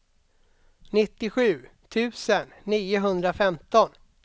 nittiosju tusen niohundrafemton